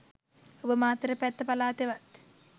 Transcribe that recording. ඔබ මාතර පැත්ත පළාතෙවත්